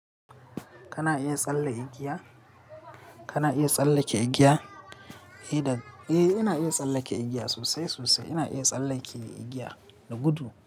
Kana iya tsalle igiya? Kana iya tsallake igiya? Eh ina iya tsallake igiya sosai sosai. Ina iya tsallake igiya da gudu.